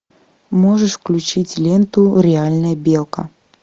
можешь включить ленту реальная белка